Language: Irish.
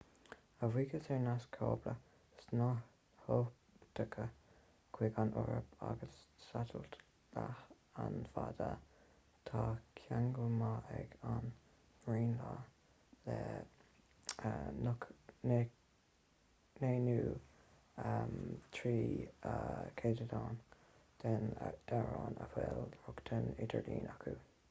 a bhuíochas ar naisc cábla snáthoptaice chuig an eoraip agus satailít leathanbhanda tá ceangal maith ag an ngraonlainn le 93% den daonra a bhfuil rochtain idirlín acu